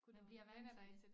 Man bliver regner dig